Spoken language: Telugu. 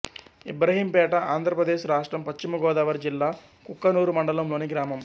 ఇబ్రహీంపేట ఆంధ్ర ప్రదేశ్ రాష్ట్రం పశ్చిమ గోదావరి జిల్లా కుక్కునూరు మండలం లోని గ్రామం